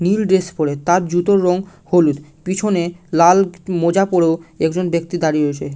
নীল dress পরে তার জুতোর রং হলুদ পিছনে লাল মোজা পরেও একজন ব্যাক্তি দাঁড়িয়ে রয়েছে--